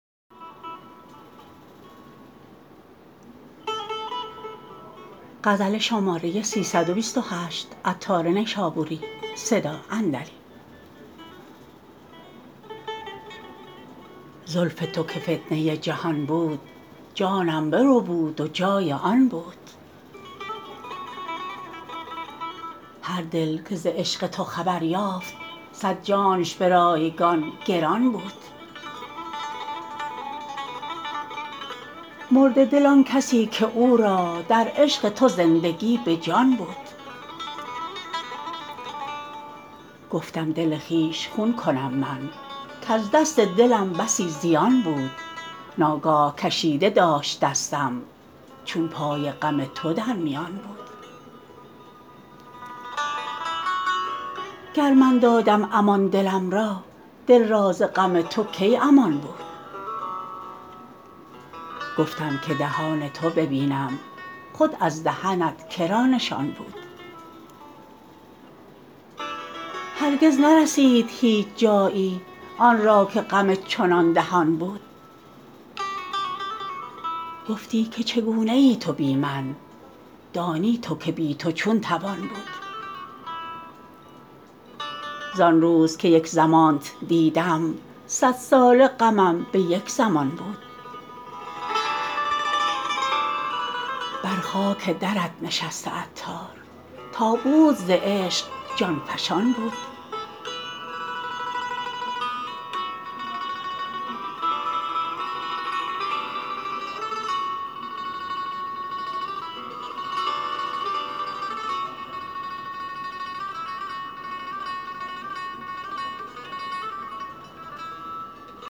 زلف تو که فتنه جهان بود جانم بربود و جای آن بود هر دل که ز عشق تو خبر یافت صد جانش به رایگان گران بود مرده دل آن کسی که او را در عشق تو زندگی به جان بود گفتم دل خویش خون کنم من کز دست دلم بسی زیان بود ناگاه کشیده داشت دستم چون پای غم تو در میان بود گر من دادم امان دلم را دل را ز غم تو کی امان بود گفتم که دهان تو ببینم خود از دهنت که را نشان بود هرگز نرسید هیچ جایی آن را که غم چنان دهان بود گفتی که چگونه ای تو بی من دانی تو که بی تو چون توان بود ز آنروز که یک زمانت دیدم صد ساله غمم به یک زمان بود بر خاک درت نشسته عطار تا بود ز عشق جان فشان بود